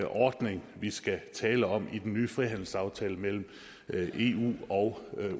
ordning vi skal tale om i den nye frihandelsaftale mellem eu og